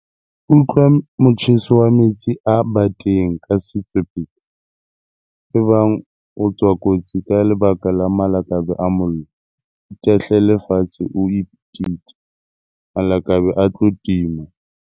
Utlwa motjheso wa metsi a bateng ka setswe pele. Ebang o tswa kotsi ka lebaka la malakabe a mollo, itahlele fatshe o pitike, malakabe a tlo tima.